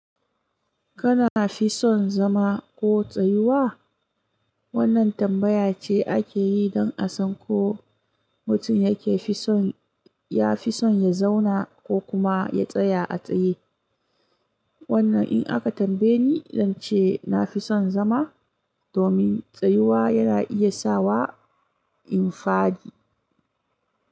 Kana fi son zama ko tsayuwa? Wannan tambaya ce ake yi don a san ko mutum yake fi son ya fi son ya zauna ko kuma ya tsaya a tsaye. Wannan in aka tambaye ni, zan ce na fi son zama domin tsayuwa yana iya sa wa in fadi.